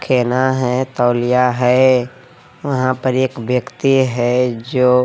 खेना है तौलिया है वहां पर एक व्यक्ति है जो--